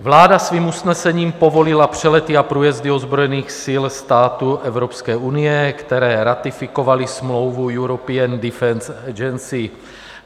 Vláda svým usnesením povolila přelety a průjezdy ozbrojených sil států Evropské unie, které ratifikovaly smlouvu European Defence Agency.